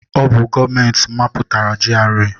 Ọ bụ gọọmenti mapụtara GRA.